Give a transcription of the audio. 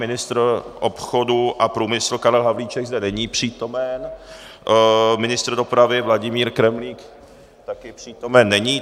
Ministr obchodu a průmyslu Karel Havlíček zde není přítomen, ministr dopravy Vladimír Kremlík taky přítomen není.